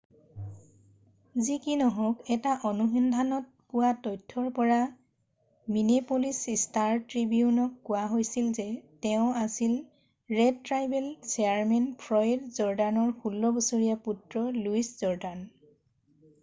যি কি নহওক এটা অনুসন্ধানত পোৱা তথ্যৰ পৰা মিনেপ'লিচ ষ্টাৰ-ট্ৰিবিউনক কোৱা হৈছিল যে তেওঁ আছিল ৰেড ট্ৰাইবেল চেয়াৰমেন ফ্লয়ড জৰ্ডানৰ 16 বছৰীয়া পুত্ৰ লুইচ জৰ্ডান